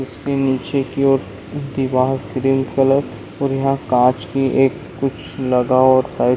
इसके नीचे की और दीवार क्रीम कलर और यहाँ काच की एक कुछ लगा और साइड में--